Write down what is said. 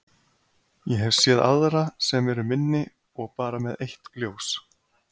Ég hef séð aðra sem eru minni og bara með eitt ljós.